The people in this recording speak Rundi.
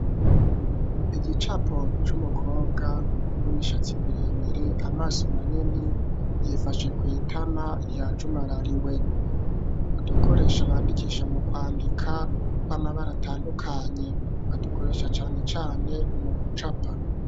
Igicapo c'umukobwa w'imishatsi miremire, amaso manini ,yifashe kw' itama ya jumarariwe ,udukoresho bandikisha mu kwandika, tw'amabara atandukanye, badukoresha cane cane mu kucapa.